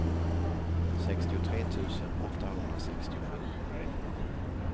sextiotre tusen åttahundrasextiosju